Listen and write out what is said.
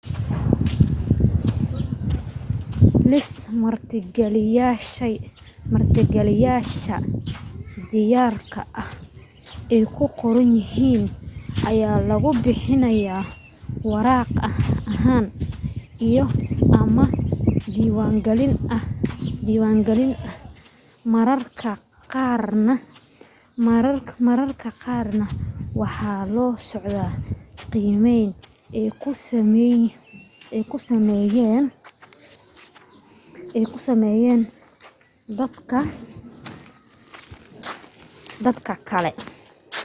liis martigeliyayaasha diyaarka ah ay ku qoran yihiin ayaa lagu bixinayaa waraaq ahaan iyo/ama online ahaan mararka qaarna waxa la socda qiimeyn ay ku sameeyeen dad kale